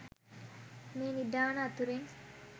මේ නිධාන අතුරෙන්